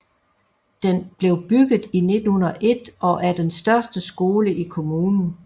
Den blev bygget i 1901 og er den største skole i kommunen